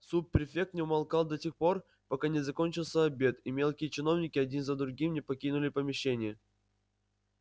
суб префект не умолкал до тех пор пока не закончился обед и мелкие чиновники один за другим не покинули помещение